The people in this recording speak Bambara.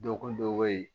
Dɔgɔkun dɔ bɛ yen